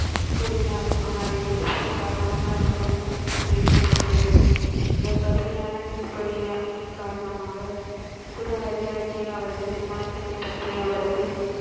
கூறினார். ஆனால் எழுத்துப்பிழை காரணமாக அது முஸ்லிம் என்று எழுதப்பட்டுள்ளது. இந்த கடுமையான கீழ்ப்படியாமையின் காரணமாக, குரு ஹரி ராய் ஜே அவரது சிம்மாசனத்தை பற்றிய அவரது,